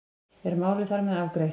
Er málið þar með afgreitt?